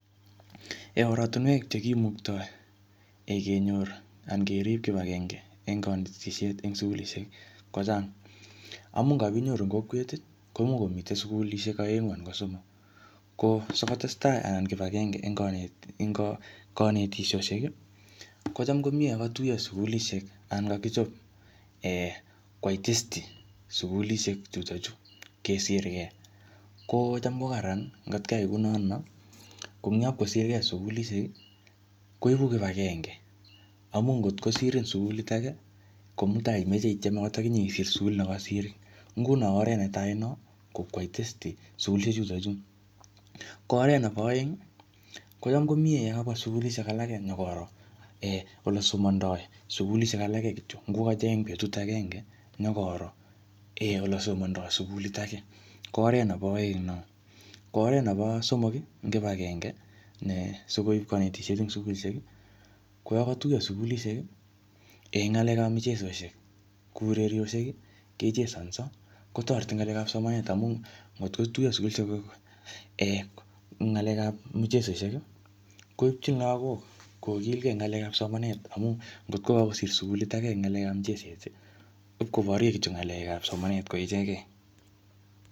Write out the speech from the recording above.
Oratunwek che kimuktoi kenyor anan kerip kibagenge eng kanetisiet eng sukulishek kochang. Amu ngapinyoru eng kokwet komuch komite sukulishek aengu anan ko somok. Ko sikotestai anan kibagenge eng kane-eng kanetik kanetisiosiek, kocham ko miee yakatuyo sukulishek anan kakichop um kwai testi sukulishek chutochu, kesirkei. Kocham ko kararan ngotkiai kunotono. Ko eng yapkosirkei sukulishek, koibu kibagenge. Amu ngotkosirin sukulit age, ko mutai imeche itiem angot akinye isir sukulit nekasirin. Nguno oret netai no, ko kwai testi sukulishek chutochu. Ko oret nebo aeng, kocham komiee yekabwa sukulishek alake nyikoro um ole somandoi sukulishek alake kityo. Ngokacheng betut agenge, nyikoro ole somandoi sukulit age, ko oret nebo aeng no. Ko oret nebo somok, ing kibagenge ne sikoip kanetisiet eng sukulishke, ko yakatuyo sukulishek eng ng'alekap michesoshek, kuu urerioshek kechesanso, kotoreti eng ng'alekap somanet. Amu ngotkotuyo sukulishek um eng ng'alekap muchesoshek, koipchin lagok kokilgei eng ng'alekap somanet. Amu ngotko kakosir sukuilt age eng ng'alekap mucheset, ipkobarye kityo ng'alekap somanet ko ichekei.